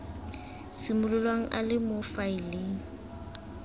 simololang a le mo faeleng